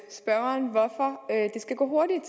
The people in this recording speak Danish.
skal gå hurtigt